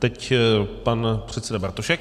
Teď pan předseda Bartošek.